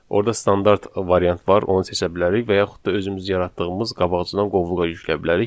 Orda standart variant var, onu seçə bilərik və yaxud da özümüz yaratdığımız qabaqcadan qovluğa yükləyə bilərik.